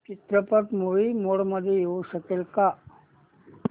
चित्रपट movie mode मध्ये येऊ शकेल का